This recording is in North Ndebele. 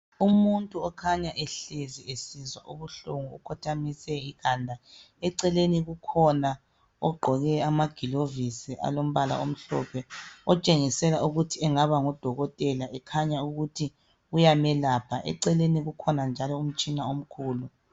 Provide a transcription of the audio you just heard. Umuntu okhanya ehlezi esizwa ubuhlungu ukhothamise ikhanda, eceleni kukhona ogqoke amagilovisi alombala omhlophe otshengisela ukuthi engaba ngudokotela ekhanya ukuthi uyamelapha , eceleni kukhona